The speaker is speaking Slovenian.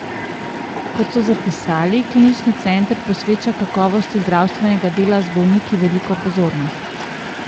Kot so zapisali, klinični center posveča kakovosti zdravstvenega dela z bolniki veliko pozornost.